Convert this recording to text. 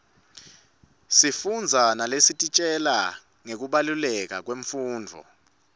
sifundza naletisitjela ngekubaluleka kwemfundvo